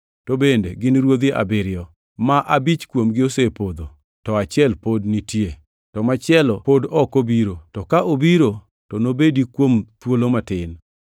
To bende gin ruodhi abiriyo. Ma abich kuomgi osepodho, to achiel pod nitie, to machielo pod ok obiro; to ka obiro to nobedi kuom thuolo matin.